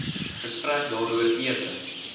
gesprek daaroor ewe